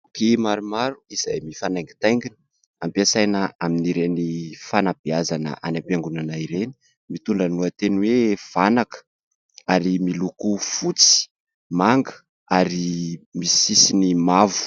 Boky maromaro izay mifanaingitaingina, ampiasaina amin'ireny fanabeazana any am-piangonana ireny, mitondra ny lohateny hoe "vanaka" ary miloko fotsy, manga ary misy sisiny mavo.